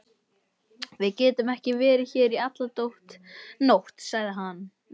Við getum ekki verið hér í alla nótt, sagði